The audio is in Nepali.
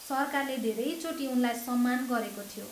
सरकारले धेरैचोटि उनलाई सम्मान गरेको थियो।